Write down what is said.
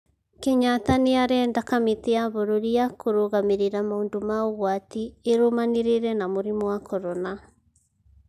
Kenyatta nĩ arenda kamĩtĩ ya bũrũri ya kũrũgamĩrĩra maũndũ ma ũgwati ĩrũmanĩrĩre na mũrimũ wa korona.